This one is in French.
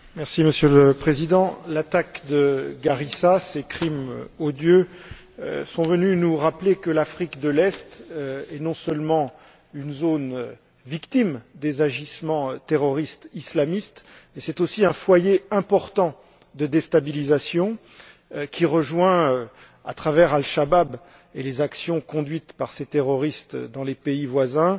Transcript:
Monsieur le Président, l'attaque de Garissa, ces crimes odieux sont venus nous rappeler que l'Afrique de l'Est est non seulement une zone victime des agissements terroristes islamistes, mais aussi un foyer important de déstabilisation qui rejoint, à travers Al Chabab et les actions conduites par ces terroristes dans les pays voisins,